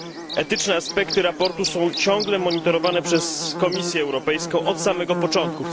Etyczne aspekty sprawozdania są ciągle monitorowane przez Komisję Europejską od samego początku.